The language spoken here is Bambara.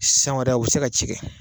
San wɛrɛ u bɛ se ka cikɛ.